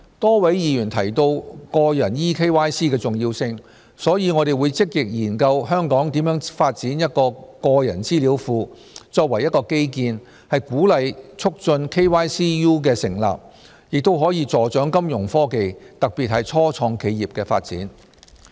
多位議員提到個人 eKYC 的重要性，所以我們會積極研究香港如何發展一個個人資料庫，作為一個基建鼓勵促進 KYCU 的成立，亦可助長金融科技，特別是初創企業的發展。